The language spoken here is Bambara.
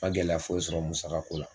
Ma gɛlɛya foyi sɔrɔ musaka ko la